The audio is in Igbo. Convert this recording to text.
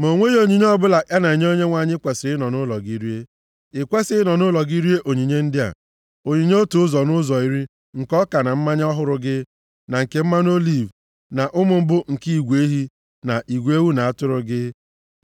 Ma o nweghị onyinye ọbụla a na-enye Onyenwe anyị i kwesiri ịnọ nʼụlọ gị rie. I kwesighị ịnọ nʼụlọ gị rie onyinye ndị a: onyinye otu ụzọ nʼụzọ iri nke ọka na mmanya ọhụrụ gị, na nke mmanụ oliv, na ụmụ mbụ nke igwe ehi na igwe ewu na atụrụ gị,